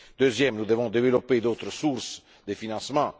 Deuxièmement, nous devons développer d'autres sources de financement.